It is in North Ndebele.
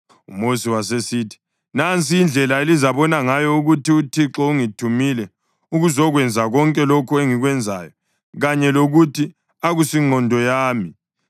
UMosi wasesithi, “Nansi indlela elizabona ngayo ukuthi uThixo ungithumile ukuzokwenza konke lokhu engikwenzayo kanye lokuthi akusingqondo yami.